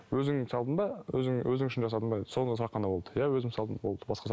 өзің салдың ба өзің өзің үшін жасадың ба деді сондай сұрақ ғана болды ия өзім салдым болды